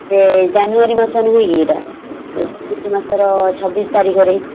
ସେ january ମାସ ନୁହଁ କି ଏଇଟା _ ମାସର ଛବିଶ ତାରିଖରେ ।